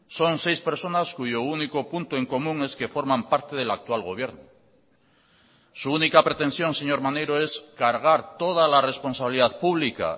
son seis personas cuyo único punto en común es que forman parte del actual gobierno su única pretensión señor maneiro es cargar toda la responsabilidad pública